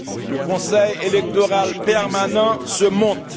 le Conseil électoral permanent se monte